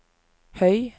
høy